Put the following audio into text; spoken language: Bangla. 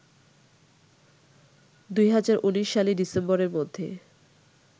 ২০১৯ সালের ডিসেম্বরের মধ্যে